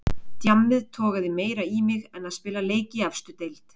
Djammið togaði meira í mig en að spila leik í efstu deild.